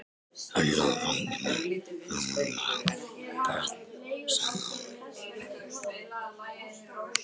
Hæli eða fangelsi fyrir vandræða- börn sagði afi.